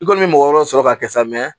I kɔni bɛ mɔgɔ wɛrɛw sɔrɔ ka kɛ sa